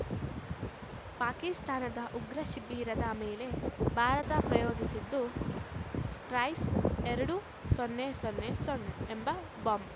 ಪಾಕಿಸ್ತಾನದ ಉಗ್ರ ಶಿಬಿರದ ಮೇಲೆ ಭಾರತ ಯೋಗಿಸಿದ್ದು ಸ್ಪೈಸ್‌ ಎರಡು ಸೊನ್ನೆ ಸೊನ್ನೆ ಸೊನ್ನೆ ಎಂಬ ಬಾಂಬ್‌